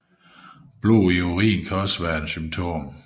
Blod i urinen kan også være et symptom